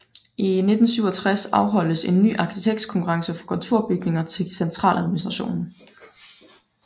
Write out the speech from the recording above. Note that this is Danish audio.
I 1967 afholdtes en ny arkitektkonkurrence for kontorbygninger til Centraladministrationen